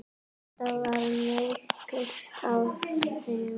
Þetta var merkur áfangi.